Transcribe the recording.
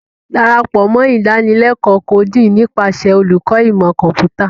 Darapọ mọ Idanileko Coding nipasẹ Oluko Imọ Kọmputa.